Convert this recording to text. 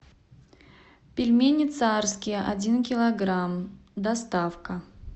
пельмени царские один килограмм доставка